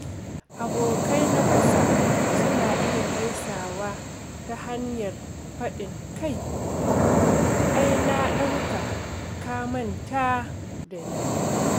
Abokai na kusa suna iya gaisawa ta hanyar faɗin “Kai! Ai na ɗauka ka manta da ni!”